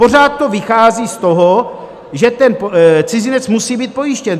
Pořád to vychází z toho, že ten cizinec musí být pojištěn.